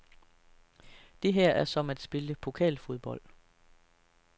Det her er som at spille pokalfodbold.